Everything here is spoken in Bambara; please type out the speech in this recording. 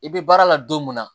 I bɛ baara la don mun na